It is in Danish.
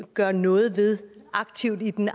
gøre noget aktivt ved i den